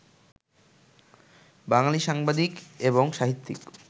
বাঙালি সাংবাদিক এবং সাহিত্যিক